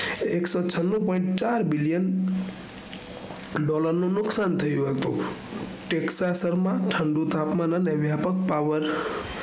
એકસો છન્નું પોઈન્ટ ચાર billion dollar નું નુકશાન થયું હતું તેક્ક્ષા સરમા ઠંડું તાપમાન વાય્પક પાવર